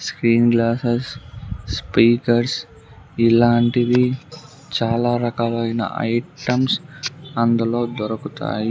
Screen glasses speakers ఇలాంటివి చాలా రకలైన ఐటమ్స్ అందులో దొరుకుతాయ్.